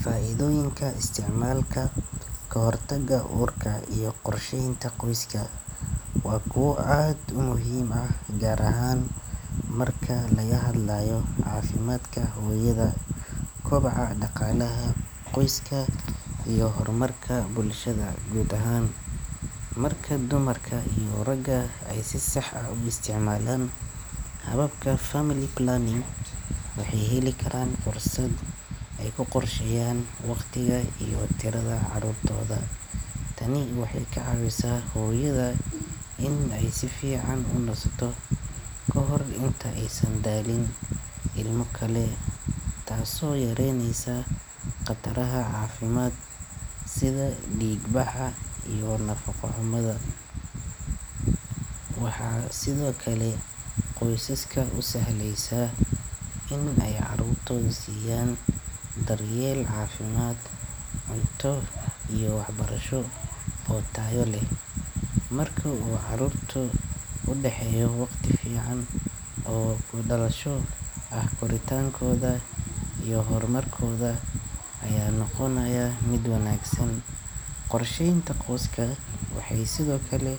Faa’iidooyinka isticmaalka kahortagga uurka iyo qorsheynta qoyska waa kuwo aad u muhiim ah gaar ahaan marka laga hadlayo caafimaadka hooyada, kobaca dhaqaalaha qoyska, iyo horumarka bulshada guud ahaan. Marka dumarka iyo ragga ay si sax ah u isticmaalaan hababka family planning, waxay heli karaan fursad ay ku qorsheeyaan waqtiga iyo tirada carruurtooda. Tani waxay ka caawisaa hooyada in ay si fiican u nasto ka hor inta aysan dhalin ilmo kale taasoo yareyneysa khataraha caafimaad sida dhiigbaxa iyo nafaqo-xumada. Waxaa sidoo kale qoysaska u sahlaysa in ay carruurtooda siiyaan daryeel caafimaad, cunto iyo waxbarasho oo tayo leh. Marka uu carruurta u dhaxeeyo waqti ku filan oo kala dhalasho ah, koritaankooda iyo horumarkooda ayaa noqonaya mid wanaagsan. Qorsheynta qoyska waxay sidoo kale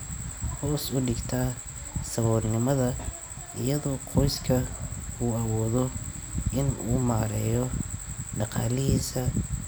hoos u dhigtaa saboolnimada iyadoo qoyska uu awoodo in uu maareeyo dhaqaalihiisa.